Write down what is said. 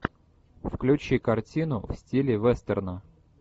включи картину в стиле вестерна